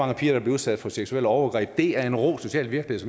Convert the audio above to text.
der bliver udsat for seksuelle overgreb det er en rå social virkelighed